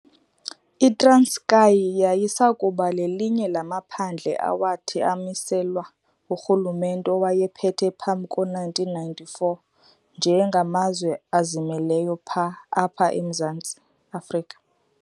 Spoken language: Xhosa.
ITranskei yayisakuba lelinye lamaphandle awathi amiselwa ngurhulumente owayephethe phambi ko1994 nje ngamazwe azimeleyo apha emZantsi Afrika.